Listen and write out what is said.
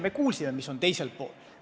Me kuulsime, mis on teisel kaalukausil.